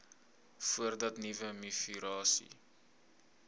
voordat nuwe mivirusse